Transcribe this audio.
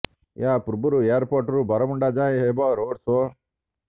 ଏହା ପୂର୍ବରୁ ଏୟାରପୋର୍ଟରୁ ବରମୁଣ୍ଡା ଯାଏଁ ହେବ ରୋଡ୍ ସୋ